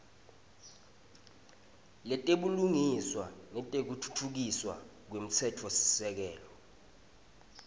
letebulungiswa nekutfutfukiswa kwemtsetfosisekelo